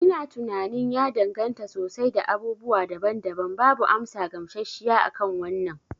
Ina tunanin ya danganta sosai da abubuwa daban daban. Babu amsa gamshashshiya akan wannan